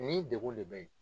Nin degun de bɛ yen.